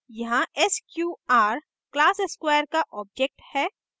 यहाँ sqr class square का object है